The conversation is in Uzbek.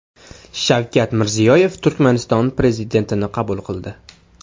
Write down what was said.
Shavkat Mirziyoyev Turkmaniston prezidentini qabul qildi.